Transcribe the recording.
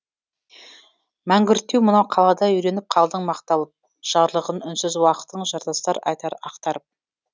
мәңгүрттеу мынау қалада үйреніп қалдың мақталып жарлығын үнсіз уақыттың жартастар айтар ақтарып